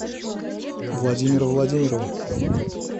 владимира владимирова